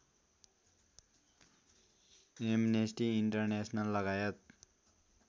amnesty इन्टरनेसनललगायत